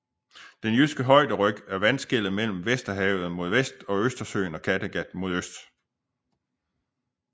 Den jyske højderyg er vandskellet mellem Vesterhavet mod vest og Østersøen og Kattegat mod øst